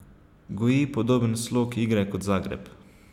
Goji podoben slog igre kot Zagreb.